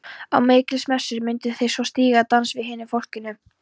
Á Mikjálsmessu myndu þau svo stíga dans með hinu fólkinu.